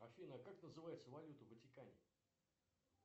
афина как называется валюта в ватикане